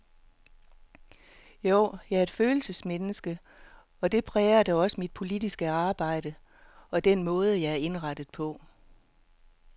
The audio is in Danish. Jo, jeg er et følelsesmenneske, og det præger da også mit politiske arbejde, og den måde jeg er indrettet på.